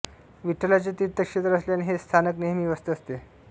विठ्ठलाचे तीर्थक्षेत्र असल्याने हे स्थानक नेहमी व्यस्त असते